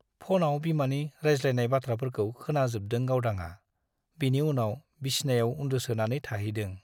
फ'नाव बिमानि रायज्लायनाय बाथ्राफोरखौ खोनाजोबदों गावदांआ , बिनि उनाव बिसनायाव उन्दुसोनानै थाहैदों ।